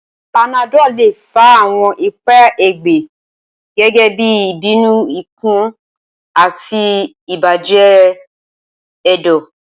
Panadol le fa awọn ipa ẹgbẹ, gẹgẹbi ibinu ikun ati ibajẹ ẹdọ.